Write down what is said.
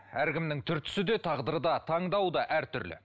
әркімнің түр түсі де тағдыры да таңдауы да әртүрлі